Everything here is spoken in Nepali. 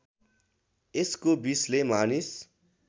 यसको विषले मानिस